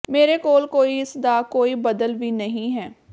ਮੇਰੇ ਕੋਲ ਕੋਈ ਇਸ ਦਾ ਕੋਈ ਬਦਲ ਵੀ ਨਹੀਂ ਹੈ